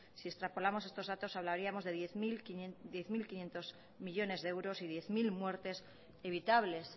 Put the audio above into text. si extrapolamos estos datos hablaríamos de diez mil quinientos millónes de euros y diez mil muertes evitables